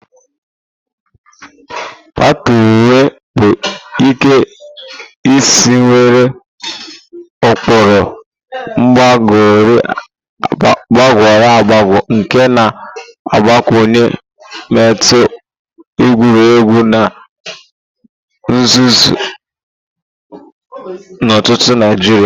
Patewo bụ Ike isi nwere ụkpụrụ gbagoro agbago nke na-agbakwunye mmetụ egwuregwu na nhazi ntutu Naijiria.